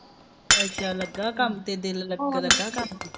ਅੱਛਾ ਲੱਗਾ ਕੰਮ ਤੇ ਦਿਲ ਲੱਗਾ ਲੱਗਾ ਕੰਮ